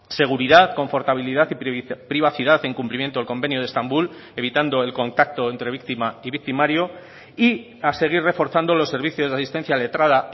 seguridad confortabilidad y privacidad en cumplimiento del convenio de estambul evitando el contacto entre víctima y victimario y a seguir reforzando los servicios de asistencia letrada